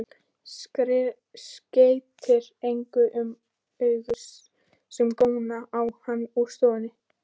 Skeytir engu um augu sem góna á hann úr stofunni.